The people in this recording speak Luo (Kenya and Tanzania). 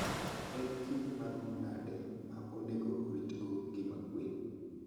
En kinde maromo nade ma onego orit go ngima gwen.